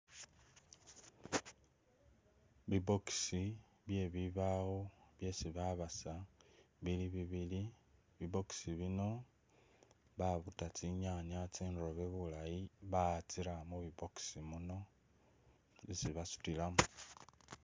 Bi'box byebibawo byesi babasa bibili bibili, bi'box bino babuta tsinyaanya tsindobe bulaayi batsiramo mubi box bino tsebasutilamo